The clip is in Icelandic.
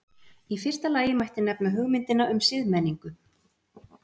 í fyrsta lagi mætti nefna hugmyndina um siðmenningu